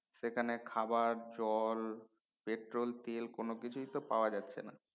সেখানে খাবার জল পেট্রোল তেল কোন কিছু তো পাওয়া যাচ্ছে না